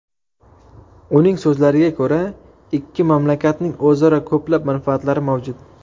Uning so‘zlariga ko‘ra, ikki mamlakatning o‘zaro ko‘plab manfaatlari mavjud.